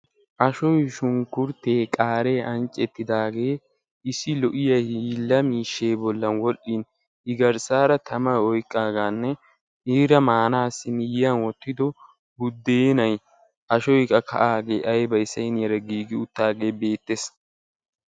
ashshoy, shunkkurtee, qaare anccettiidaage issi lo''iya hiila miishshe bollan woxxin I garsseera tamaa oyqqaaraganne iira maanassi miyyiyaan wottido buddeenay ashshoy qa ka''aage aybbay saynniyaara giigi uttaagee beettees.